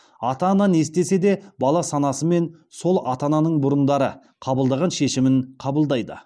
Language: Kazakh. ата ана не істесе де бала санасымен сол ата ананың бұрындары қабылдаған шешімін қабылдайды